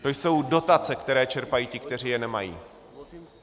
To jsou dotace, které čerpají ti, kteří je nemají.